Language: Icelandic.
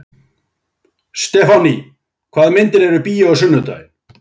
Stefánný, hvaða myndir eru í bíó á sunnudaginn?